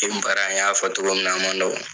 E baara in, an y'a fɔ togo min na, a ma nɔgɔ.